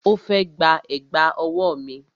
Ó fẹ́ gba Ẹ̀gbá ọwọ́